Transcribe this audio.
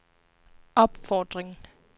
opfordring